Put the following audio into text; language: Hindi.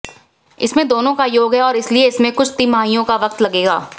इसमें दोनों का योग है और इसलिए इसमें कुछ तिमाहियों का वक्त लगेगा